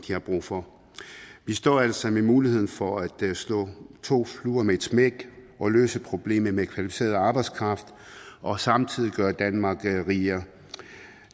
har brug for vi står altså med muligheden for at slå to fluer med et smæk og løse problemet med kvalificeret arbejdskraft og samtidig gøre danmark rigere